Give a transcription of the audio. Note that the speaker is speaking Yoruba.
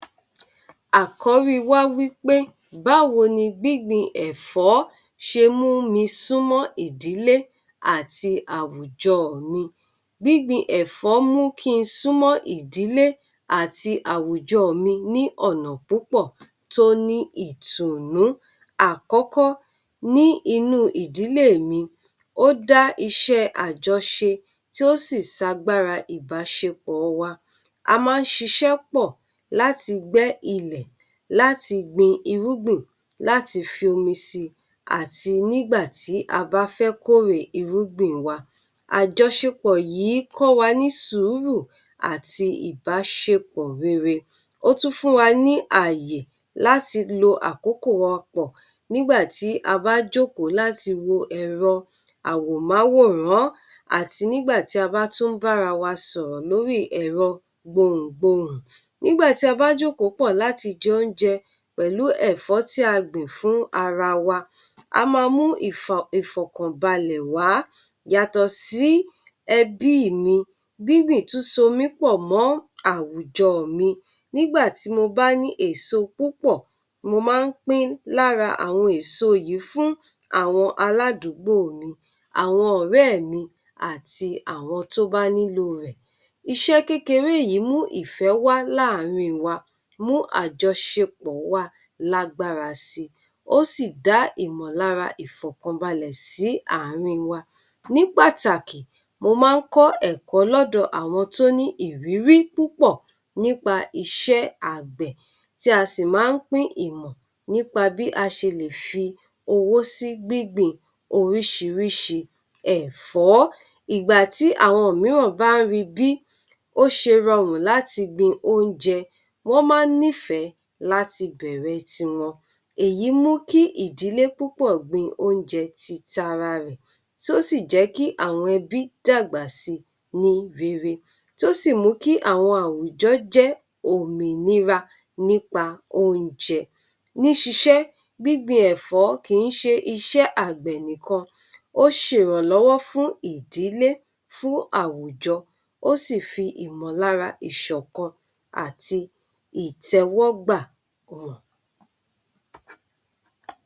Àkọ́rí wa wí pé báwo ni gbígbìn ẹ̀fọ́ ṣe mú mi súnmọ́ ìdílé àti àwùjọ mi. Gbíngbin ẹ̀fọ́ mú kí n súnmọ́ ìdílé àti àwùjọ mi ní ọ̀nà púpọ̀ tó ní ìtùnnú. Àkọ́kọ́, ní inú ìdílé mi, ó dá iṣẹ́ àjoṣe, tí ó sì so agbára ìbáṣepọ̀ wa. A máa ń ṣiṣẹ́ pọ̀ láti gbẹ́ ilẹ̀, láti gbin irúgbìn, láti fi omi sí i àti nígbà tí a bá fẹ́ kórè irúgbìn wa. Àjọṣepọ̀ yìí kọ́ wa ní sùúrù, àti ìbáṣepọ̀ rere. Ó tún fún wa ní ààyè láti lo àkókò wa pọ̀ nígbà tí a bá jókòó láti wo ẹ̀rọ àwòmáwòrán, àti nígbà tí a bá tún ń bára wa sọ̀rọ̀ lórí ẹ̀rọ gbohùngbohùn. Nígbà tí a bá jókòó pọ̀ láti jẹ oúnjẹ pẹ̀lú ẹ̀fọ́ tí a gbìn fún ara wa, á máa mú ìfọ̀ ìfọ̀kànbalẹ̀ wá. Yàtọ̀ sí ẹbí mi, gbíngbìn tún so mí pọ̀ mọ́ àwùjọ mi. Nígbà tí mo bá ní èso púpọ̀, mo máa ń pín lára àwọn èso yìí fún àwọn aládùúgbò mi, àwọn ọ̀rẹ́ mi àti àwọn tó bá nílò rẹ̀. Iṣẹ́ kékeré yìí mú ìfẹ́ wá láàárín wa, mú àjọṣepọ̀ wa lágbára si, ó sì dá ìmọ̀lára ìfọ̀kànbalẹ̀ sí àárín wa. Ní Pàtàkì, mo máa ń kọ́ ẹ̀kọ́ lọ́dọ̀ àwọn tó ní ìrírí púpọ̀ nípa iṣẹ́ àgbẹ̀, tí a sì máa ń pín ìmọ̀ nípa bí a ṣe lè fi owó sí gbígbìn oríṣiríṣi ẹ̀fọ́. Ìgbà tí àwọn mìíràn bá ń rí bí ó ṣe rọrùn láti gbin oúnjẹ, wọ́n máa ń nífẹ̀ẹ́ láti bẹ̀rẹ̀ tiwọn. Èyí mu kí ìdílé púpọ̀ gbin oúnjẹ ti tara rẹ̀, tó sì jẹ́ kí àwọn ẹbí dàgbà si ní rere, tó sì mú kí àwọn àwùjọ jẹ́ òmìnira nípa oúnjẹ. Ní ṣiṣẹ́, gbíngbin ẹ̀fọ́ kì ń ṣe iṣẹ́ àgbẹ̀ nìkan, ó ṣe ìrànlọ́wọ́ fún ìdílé, fún àwùjọ, ó sì fi ìmọ̀lára ìṣọ̀kan àti ìtẹ́wọ́gbà wọ̀n.